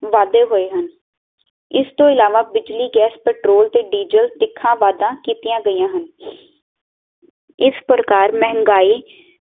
ਵਾਧੇ ਹੋਏ ਹਨ ਇਸ ਤੋਂ ਇਲਾਵਾਂ ਬਿਜਲੀ ਗੈਸ, ਪਟਰੋਲ ਤੇ ਡੀਜਲ ਤਿੱਖਾ ਵਾਧਾ ਕੀਤੀਆਂ ਗਈਆਂ ਹਨ ਇਸ ਪ੍ਰਕਾਰ ਮਹਿੰਗਾਈ